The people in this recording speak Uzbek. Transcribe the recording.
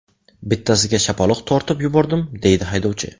Bittasiga shapaloq tortib yubordim, deydi haydovchi.